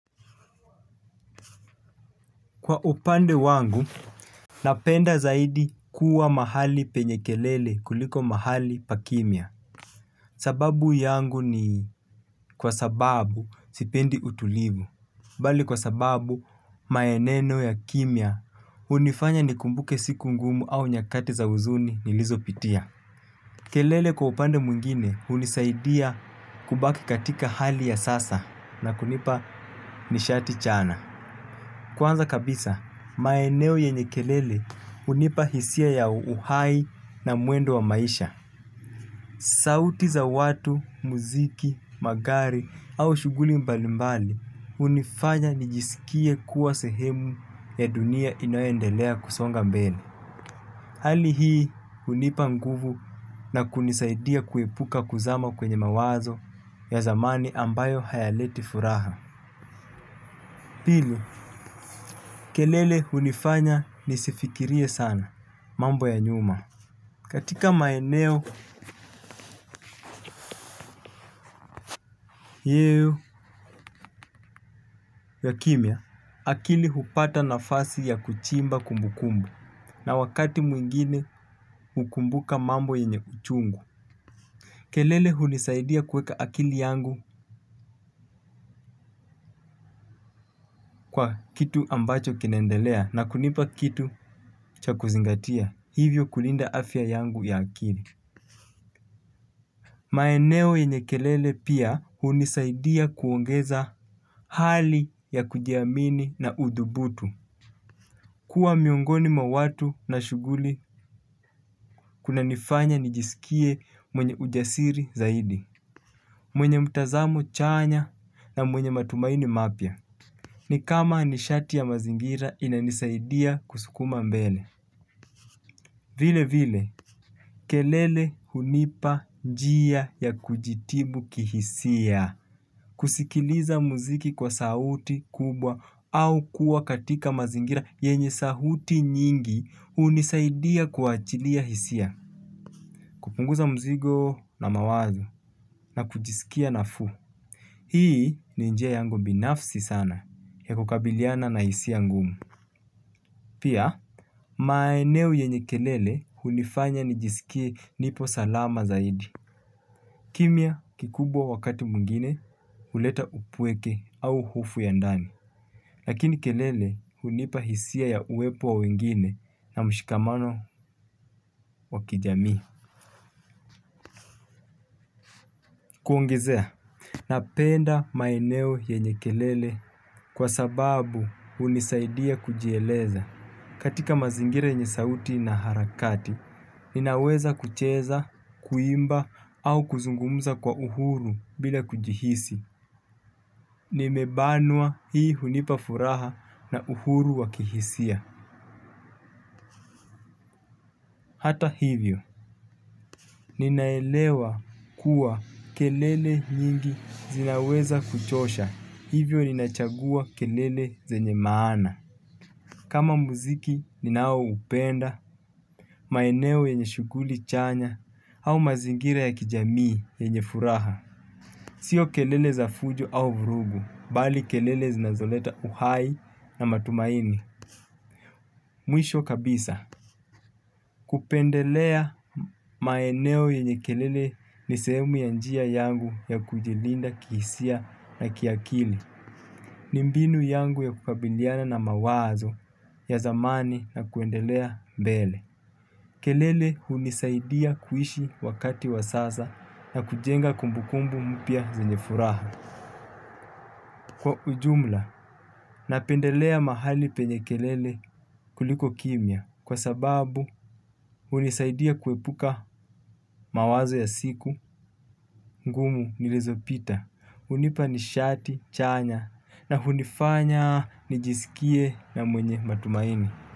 Kwa upande wangu, napenda zaidi kuwa mahali penye kelele kuliko mahali pa kimya. Sababu yangu ni kwa sababu sipendi utulivu. Bali kwa sababu maeneo ya kimya hunifanya nikumbuke siku ngumu au nyakati za huzuni nilizopitia. Kelele kwa upande mwingine hunisaidia kubaki katika hali ya sasa na kunipa nishati chana. Kwanza kabisa, maeneo yenye kelele hunipa hisia ya uhai na mwendo wa maisha. Sauti za watu, muziki, magari au shughuli mbalimbali hunifanya nijisikie kuwa sehemu ya dunia inayoendelea kusonga mbele. Hali hii hunipa nguvu na kunisaidia kuepuka kuzama kwenye mawazo ya zamani ambayo hayaleti furaha. Pili kelele hunifanya nisifikirie sana mambo ya nyuma. Katika maeneo yeo ya kimya, akili hupata nafasi ya kuchimba kumbu kumbu na wakati mwingine hukumbuka mambo yenye uchungu. Kelele hunisaidia kuweka akili yangu kwa kitu ambacho kinaendelea na kunipa kitu cha kuzingatia hivyo kulinda afya yangu ya akili. Maeneo yenye kelele pia hunisaidia kuongeza hali ya kujiamini na udhubutu kuwa miongoni mwa watu na shughuli kuna nifanya nijisikie mwenye ujasiri zaidi. Mwenye mtazamo chanya na mwenye matumaini mapya. Ni kama nishati ya mazingira inanisaidia kusukuma mbele. Vile vile kelele hunipa njia ya kujitibu kihisia, kusikiliza muziki kwa sauti kubwa au kuwa katika mazingira yenye sauti nyingi hunisaidia kuachilia hisia. Kupunguza mzigo na mawazo na kujisikia nafuu. Hii ni njia yangu binafsi sana ya kukabiliana na hisia ngumu. Pia, maeneo yenye kelele hunifanya nijisikie nipo salama zaidi. Kimya kikubwa wakati mwingine huleta upweke au hofu ya ndani. Lakini kelele hunipa hisia ya uwepo wa wengine na mshikamano wa kijamii. Kuongezea. Napenda maeneo yenye kelele kwa sababu hunisaidia kujieleza. Katika mazingira yenye sauti na harakati, ninaweza kucheza, kuimba au kuzungumza kwa uhuru bila kujihisi. Nimebanwa hii hunipa furaha na uhuru wa kihisia. Hata hivyo. Ninaelewa kuwa kelele nyingi zinaweza kuchosha, hivyo ninachagua kelele zenye maana. Kama muziki ninao upenda, maeneo yenye shughuli chanya, au mazingira ya kijamii yenye furaha sio kelele za fujo au vurugu, bali kelele zinazoleta uhai na matumaini mwisho kabisa. Kupendelea maeneo yenye kelele ni sehemu ya njia yangu ya kujilinda kihisia na kiakili. Ni mbinu yangu ya kukabiliana na mawazo ya zamani na kuendelea mbele. Kelele hunisaidia kuishi wakati wa sasa na kujenga kumbukumbu mpya zenye furaha. Kwa ujumla, napendelea mahali penye kelele kuliko kimya kwa sababu hunisaidia kuepuka mawazo ya siku ngumu nilizopita hunipa nishati chanya na hunifanya nijisikie na mwenye matumaini.